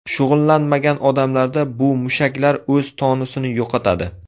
Shug‘ullanmagan odamlarda bu mushaklar o‘z tonusini yo‘qotadi.